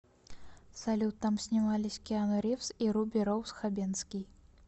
салют там снимались киану ривз и руби роуз хабенский